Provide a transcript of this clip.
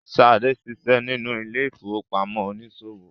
Sade ṣiṣẹ nínú ile-ifowopamọ oniṣòwo.